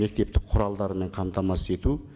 мектептік құралдарымен қамтамасыз ету